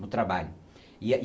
No trabalho, e aí